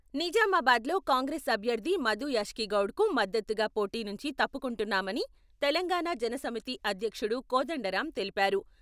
నిజామాబాద్ లో కాంగ్రెస్ అభ్యర్థి మధుయాష్కి గౌడ్కు మద్దతుగా పోటీ నుంచి తప్పుకుంటున్నామని తెలంగాణ జనసమితి అధ్యక్షుడు కోదండరాం తెలిపారు